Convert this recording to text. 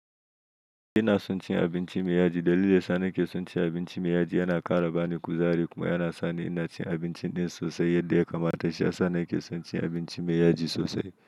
Ina son cin abinci mai yaji. Dalili yana sa ni ke son cin abinci mai yaji, yana ƙara bani kuzari kuma yana sa ni ina cin abinci ɗin sosai yadda ya kamata. Shi ya sa ni ke son cin abinci mai yaji sosai.